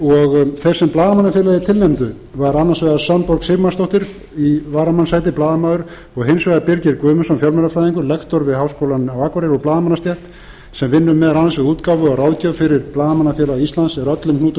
þeir sem blaðamannafélagið tilnefndu var annars vegar svanborg sigmarsdóttir í varamannssæti blaðamaður og hins vegar birgir guðmundsson fjölmiðlafræðingur lektor við háskólann á akureyri úr blaðamannastétt sem vinnur meðal annars við útgáfu og ráðgjöf fyrir blaðamannafélag íslands og er öllum hnútum